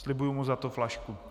Slibuji mu za to flašku.